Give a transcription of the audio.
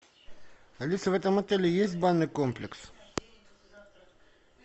алиса в этом отеле есть банный комплекс